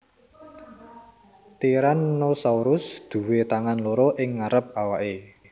Tyrannosaurus duwé tangan loro ing ngarep awake